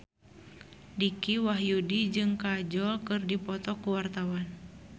Dicky Wahyudi jeung Kajol keur dipoto ku wartawan